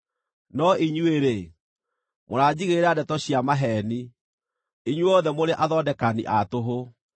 No inyuĩ-rĩ, mũranjigĩrĩra ndeto cia maheeni; inyuothe mũrĩ athondekani a tũhũ!